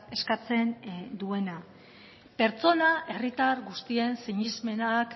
eskatzen duena pertsona herritar guztien sinesmenak